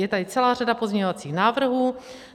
Je tady celá řada pozměňovacích návrhů.